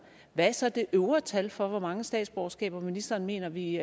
hvad er så det øvre tal for hvor mange statsborgerskaber ministeren mener vi